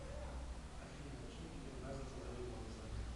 афина чем тебе нравится заниматься